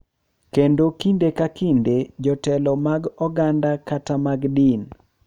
Kendo kinde ka kinde jotelo mag oganda kata mag din.